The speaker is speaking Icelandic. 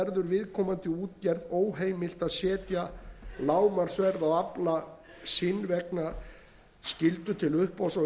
viðkomandi útgerð óheimilt að setja lágmarksverð á afla sinn vegna skyldu til uppboðs á